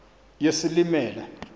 yesilimela